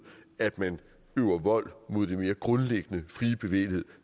at man øver vold mod den mere grundlæggende frie bevægelighed